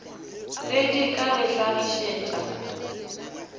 ge di ka re hlagišetša